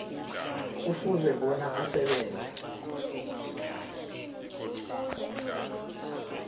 kufuze bona asebenze